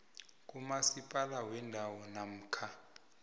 kumasipala wendawo namkha